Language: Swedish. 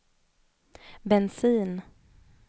bensin